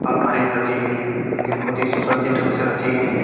अलमारी में रखी गईं हैं जो कि बहोत ही सुसज्जित ढंग से रखी गई हैं |